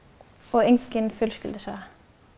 engin fjölskyldusaga